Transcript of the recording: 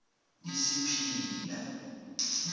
isipila